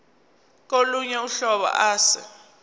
kolunye uhlobo ase